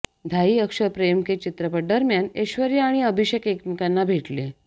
धाई अक्षर प्रेम के चित्रपटादरम्यान एेश्वर्या आणि अभिषेक एकमेकांना भेटले